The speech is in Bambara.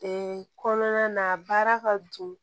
kɔnɔna na baara ka don